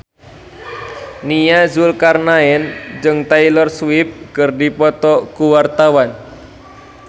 Nia Zulkarnaen jeung Taylor Swift keur dipoto ku wartawan